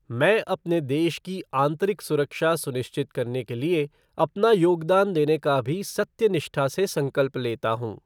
मैं अपने देश की आंतरिक सुरक्षा सुनिश्चित करने के लिए अपना योगदान देने का भी सत्यनिष्ठा से संकल्प लेता हूँ।